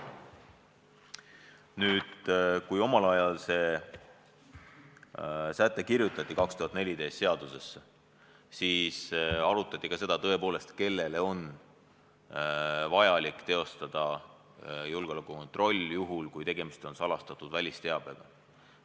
Nüüd, kui see säte omal ajal, 2014. aastal seadusesse kirjutati, siis arutati tõepoolest ka seda, kellele on vajalik teha julgeolekukontrolli, juhul kui tegemist on salastatud välisteabega.